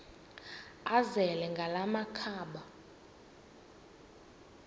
azele ngala makhaba